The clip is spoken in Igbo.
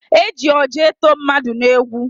Eji ọja eto mmadụ n'egwu.